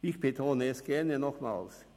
Ich betone es gerne nochmals: